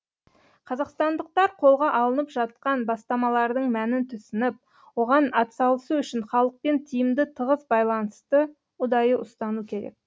қазақстандықтар қолға алынып жатқан бастамалардың мәнін түсініп оған атсалысу үшін халықпен тиімді тығыз байланысты ұдайы ұстану керек